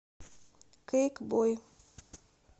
кэйкбой